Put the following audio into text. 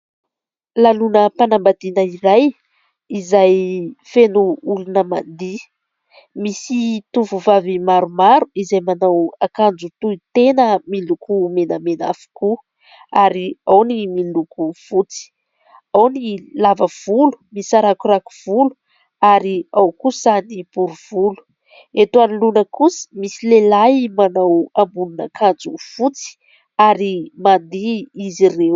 Lanonam-panam-badina iray izay feno olona mandihy. Misy tovovavy maromaro izay manao akanjo tohy tena miloko menamena avokoa ary ao ny miloko fotsy. Ao ny lava volo misarakorako volo ary ao kosa ny bory volo. Eto anoloana kosa misy lehilahy manao ambonin'ankanjo fotsy ary mandihy izy ireo.